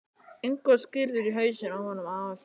Ingu og skírður í hausinn á honum afa þínum.